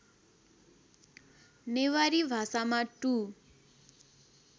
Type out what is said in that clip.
नेवारी भाषामा टु